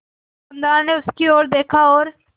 दुकानदार ने उसकी ओर देखा और